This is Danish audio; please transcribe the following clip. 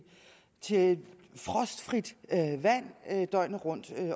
til frostfrit vand døgnet rundt